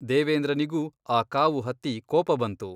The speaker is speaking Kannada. ದೇವೇಂದ್ರನಿಗೂ ಆ ಕಾವು ಹತ್ತಿ ಕೋಪ ಬಂತು.